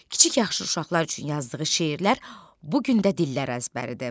Kiçik yaxşı uşaqlar üçün yazdığı şeirlər bu gün də dillər əzbəridir.